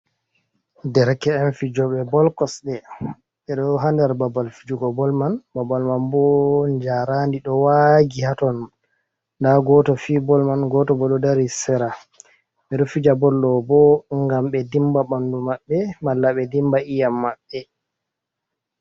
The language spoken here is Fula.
Derke'en fijoɓe bol kosɗe ɓe do ha nder babal fijugo bol mai babal man bo jarandi ɗo wagi haton. Nda goto fiyi bol mai goto bo ɗo dari sera ɓe ɗo fija bol on bo ngam ɓe dimba ɓandu maɓɓe mala be dimba iyam maɓɓe.